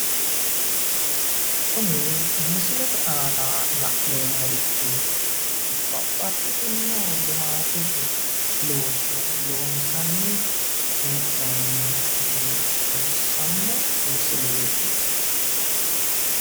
Kuni misilete aana la'neemmorichi babbaxxitinno limaatete looso loonsanni hee'noonni gede xawissanno misileeti.